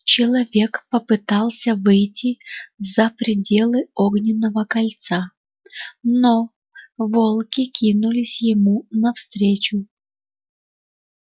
человек попытался выйти за пределы огненного кольца но волки кинулись ему навстречу